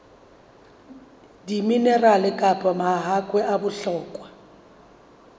diminerale kapa mahakwe a bohlokwa